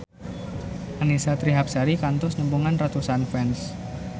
Annisa Trihapsari kantos nepungan ratusan fans